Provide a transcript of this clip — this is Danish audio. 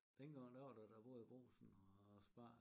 Dengang der var der da både Brugsen og Spar